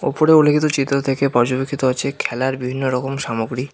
উপরে উল্লিখিত চিত্র থেকে পর্যবেক্ষিত হচ্ছে খেলার বিভিন্ন রকম সামগ্রী।